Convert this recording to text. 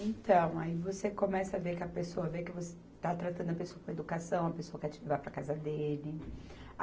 Então, aí você começa a ver que a pessoa vê que você está tratando a pessoa com educação, a pessoa quer te levar para a casa dele.